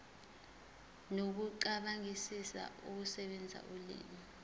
nokucabangisisa ukusebenzisa ulimi